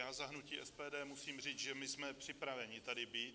Za hnutí SPD musím říct, že my jsme připraveni tady být.